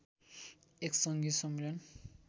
एक सङ्घीय सम्मेलन